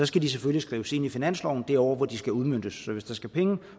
skal de selvfølgelig skrives ind i finansloven det år hvor de skal udmøntes så hvis der skal